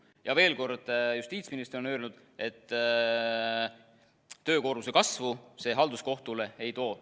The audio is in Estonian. Ja veel kord: Justiitsministeerium on öelnud, et töökoormuse kasvu see halduskohtule ei too.